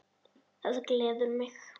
Það gleður mig.